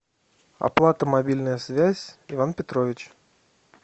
оплата мобильная связь иван петрович